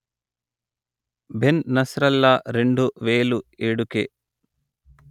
Ben Nasrallah రెండు వేలు ఏడుకె